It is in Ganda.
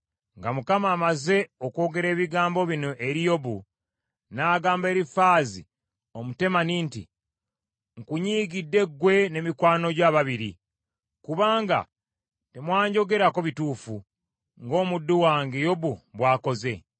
Nga Mukama amaze okwogera ebigambo bino eri Yobu, n’agamba Erifaazi Omutemani nti, “Nkunyiigidde ggwe ne mikwano gyo ababiri; kubanga temwanjogerako bituufu, ng’omuddu wange Yobu bw’akoze.